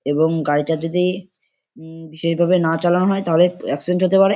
এবং গাড়িটা যদি উম বিশেষ ভাবে না চালানো হয় তাহলে এক্সিডেন্ট হতে পারে।